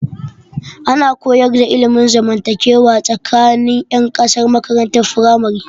Ana koyar da ilmin zamantakewa tsakanin 'yan kasa a makarantar firamare.